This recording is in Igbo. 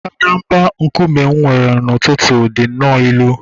mbadamba nkume m were n’ụtụtụ dị nnọọ ilu